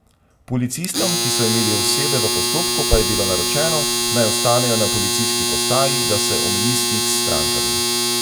Policistom, ki so imeli osebe v postopku, pa je bilo naročeno, naj ostanejo na policijski postaji, da se omeji stik s strankami.